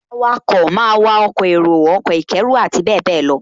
Awakọ̀ máa wa ọkọ̀ èrò, ọkọ̀ ìkẹ́rù àti bẹ́ẹ̀bẹ́ẹ̀ lọ